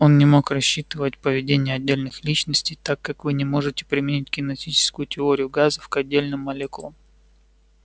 он не мог рассчитывать поведение отдельных личностей так как вы не можете применить кинетическую теорию газов к отдельным молекулам